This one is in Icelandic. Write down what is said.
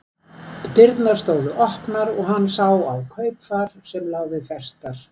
Dyrnar stóðu opnar og hann sá á kaupfar sem lá við festar.